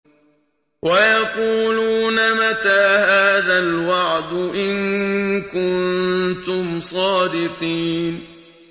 وَيَقُولُونَ مَتَىٰ هَٰذَا الْوَعْدُ إِن كُنتُمْ صَادِقِينَ